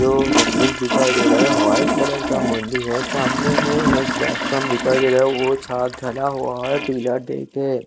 जो गम्बज़ दिखाई दे रहा है वाइट कलर का मंदिर है सामने में एक प्लेटफार्म दिखाई दे रहा है वो सा ढला हुआ है पिलर देके--